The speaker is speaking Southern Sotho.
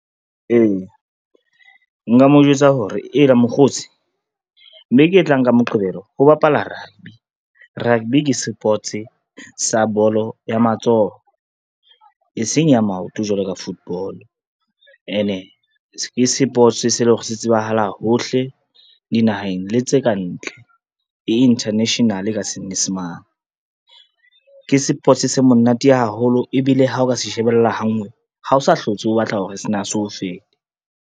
Ee, nka mo eletsa hore ela mokgotsi beke e tlang ka Moqebelo ho bapala rugby. Rugby ke sports sa bolo ya matsoho, e seng ya maoto jwalo ka football, ene ke sports se leng hore se tsebahala hohle dinaheng le tse ka ntle, e international ka Senyesemane. Ke sports se monate haholo ebile ha o ka se shebella ha nngwe ha o sa hlotse o batla hore se o fete.